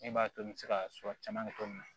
Min b'a to i bɛ se ka su caman kɛ cogo min na